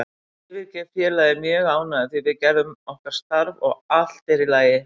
Ég yfirgef félagið mjög ánægður því við gerðum okkar starf og allt er í lagi.